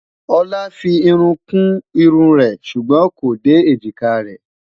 olá fí irún kù irún rè sùgbón kò dé ejika rè